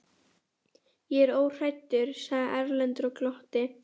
Ég er óhræddur, sagði Erlendur og glotti.